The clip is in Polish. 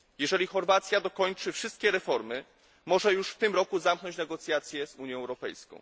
Jeżeli Chorwacja dokończy wszystkie reformy, może już w tym roku zamknąć negocjacje z Unią Europejską.